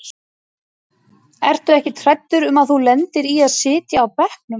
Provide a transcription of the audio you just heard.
Ertu ekkert hræddur um að þú lendir í að sitja á bekknum?